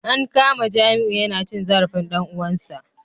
An kama Jamiu yana cin zarafin dan uwansa